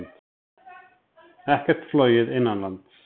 Ekkert flogið innanlands